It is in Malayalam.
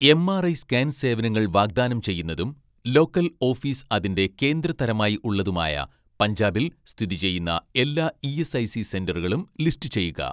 എംആർഐ സ്കാൻ സേവനങ്ങൾ വാഗ്‌ദാനം ചെയ്യുന്നതും ലോക്കൽ ഓഫീസ് അതിന്റെ കേന്ദ്ര തരമായി ഉള്ളതുമായ പഞ്ചാബിൽ സ്ഥിതി ചെയ്യുന്ന എല്ലാ ഇ.എസ്.ഐ.സി സെന്ററുകളും ലിസ്റ്റുചെയ്യുക.